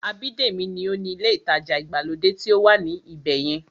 Abídèmí ní ó ni ilé ìtajà ìgbàlódé tí ó wà ní ibẹ̀yẹn